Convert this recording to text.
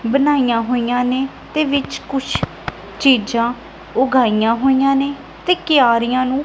ਬਣਾਈਆਂ ਹੋਈਆਂ ਨੇ ਤੇ ਵਿੱਚ ਕੁਛ ਚੀਜ਼ਾਂ ਉਗਾਈਆਂ ਹੋਈਆਂ ਨੇ ਤੇ ਕਿਆਰੀਆਂ ਨੂੰ--